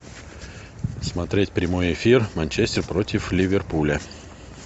смотреть прямой эфир манчестер против ливерпуля